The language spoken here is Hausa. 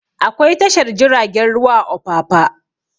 Akwai tashar jiragen ruwa a opapa